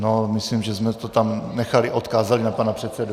No, myslím, že jsme to tam nechali, odkázali na pana předsedu.